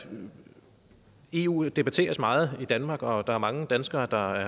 eu debatteres meget i danmark og der er mange danskere der